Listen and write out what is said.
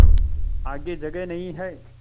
आगे जगह नहीं हैं